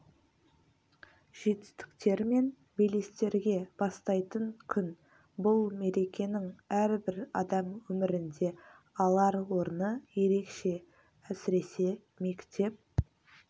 жетістіктер мен белестерге бастайтын күн бұл мерекенің рбір адам өмірінде алар орны ерекше сіресе мектеп